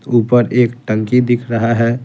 ऊपर एक टंकी दिख रहा है।